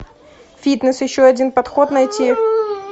фитнес еще один подход найти